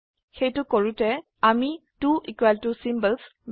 সেইটো কৰোতে আমি ত্ব ইকোৱেল ত চিম্বলছ